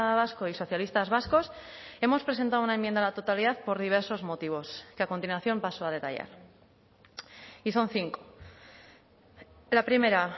vasco y socialistas vascos hemos presentado una enmienda a la totalidad por diversos motivos que a continuación paso a detallar y son cinco la primera